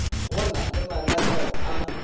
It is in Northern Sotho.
go na le mananeo a